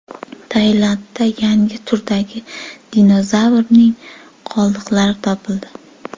Tailandda yangi turdagi dinozavrning qoldiqlari topildi.